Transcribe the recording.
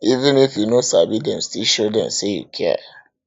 even if you no sabi dem still show dem sey you care